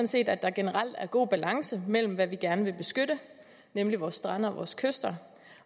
set at der generelt er god balance mellem hvad vi gerne vil beskytte nemlig vores strande og vores kyster